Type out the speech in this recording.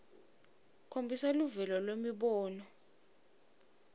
khombisa luvelo lwemibono